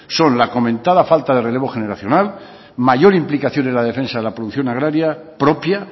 son la comentada falta de relevo generacional mayor implicación en la defensa de la producción agraria propia